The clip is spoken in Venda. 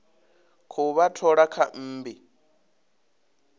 khou vha thola kha mmbi